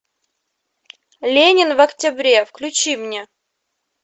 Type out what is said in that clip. ленин в октябре включи мне